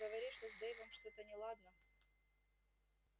говоришь что с дейвом что-то неладно